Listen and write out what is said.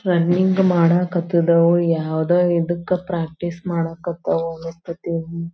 Running ಮಾಡ್ ಕತ್ತಿದವೋ ಯಾವದೋ ಇದಕ್ಕ ಪ್ರಾಕ್ಟೀಸ್ ಮಾಡ್ ಕತವೋ ಅನ್ನಸ್ತ್ಯತಿ.